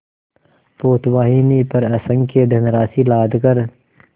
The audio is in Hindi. पोतवाहिनी पर असंख्य धनराशि लादकर